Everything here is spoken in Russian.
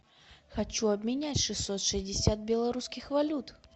хочу обменять шестьсот шестьдесят белорусских валют